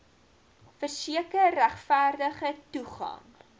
verseker regverdige toegang